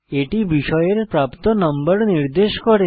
এটি বিষয়ের প্রাপ্ত নম্বর নির্দেশ করে